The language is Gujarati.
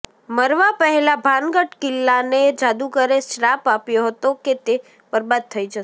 મરવા પહેલા ભાનગઢ કિલ્લાને જાદુગરે શ્રાપ આપ્યો હતો કે તે બરબાદ થઈ જશે